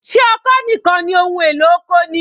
Ṣé ọkọ́ nìkan ni ohun èlò oko ni?